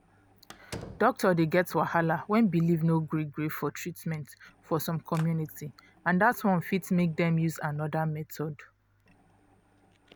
doctor dey get wahala when belief no gree gree for treatment for some community and that one fit make dem use another method